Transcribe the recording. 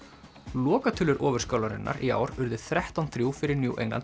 lokatölur í ár urðu þrettán til þrjú fyrir New England